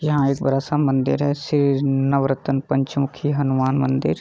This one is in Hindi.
यहाँ एक बड़ा सा मंदिर है शेर नवरतन पंचमुखी हनुमान मंदिर।